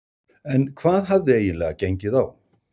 En hvað hafði eiginlega gengið á?